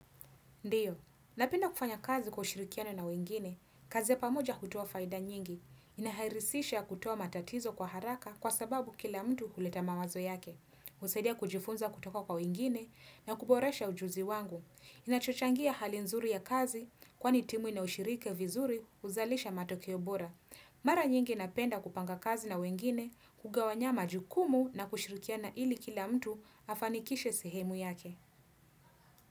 Ndiyo, napenda kufanya kazi kwa ushirikiano na wengine, kazi ya pamoja hutoa faida nyingi, inahairisisha kuttwa matatizo kwa haraka kwa sababu kila mtu huleta mawazo yake, husaidia kujifunza kutoko kwa wengine na kuboresha ujuzi wangu, inachochangia hali nzuri ya kazi kwani timu ina ushirika vizuri uzalisha matokeo bora. Mara nyingi napenda kupanga kazi na wengine, kugawanya majukumu na kushirikiana ili kila mtu afanikishe sehemu yake.